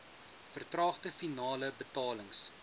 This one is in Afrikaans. vertraagde finale betalings